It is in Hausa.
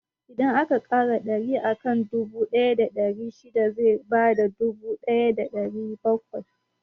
Idan aka ƙara ɗari akan dubu ɗaya da ɗari shida zai bada dubu ɗaya da ɗari bakwai.